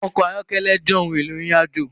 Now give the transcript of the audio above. Ọkọ̀ ayọ́kẹ́lẹ́ jẹ́ ohun éló irinàjó